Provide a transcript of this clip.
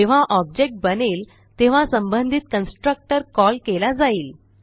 जेव्हा ऑब्जेक्ट बनेल तेव्हा संबंधित कन्स्ट्रक्टर कॉल केला जाईल